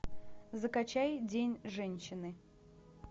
закачай день женщины